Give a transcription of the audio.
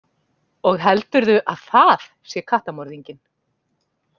Og heldurðu að það sé kattamorðinginn?